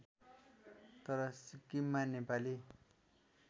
तर सिक्किममा नेपाली